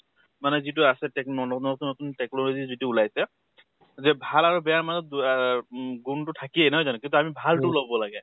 মানে যিটো আছে techno নতুন নতুন technology যিটো ওলাইছে যে ভাল আৰু বেয়াৰ মাজত দু আহ গুন টো থাকেই নহয় জানো? কিন্তু আমি ভাল টো লʼব লাগে।